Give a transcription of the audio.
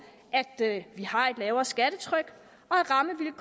at vi har et lavere skattetryk